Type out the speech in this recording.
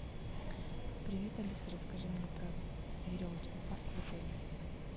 привет алиса расскажи мне про веревочный парк в отеле